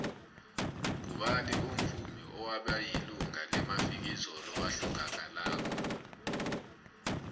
ngubani umuvmi obekayilunga lemafikizo owahlangakalako